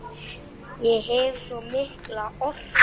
Ég hef svo mikla orku.